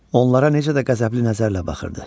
Onlara necə də qəzəbli nəzərlə baxırdı.